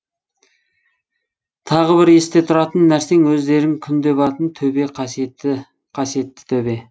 тағы бір есте тұтатын нәрсең өздерің күнде баратын төбе қасиетті төбе